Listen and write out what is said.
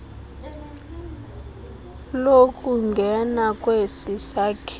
lokungena kwesi sakhiwo